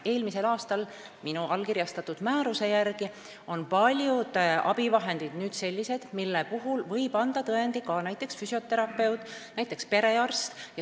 Minu eelmisel aastal allkirjastatud määruse järgi on paljud abivahendid nüüd sellised, mille puhul võib tõendi anda ka näiteks füsioterapeut või perearst.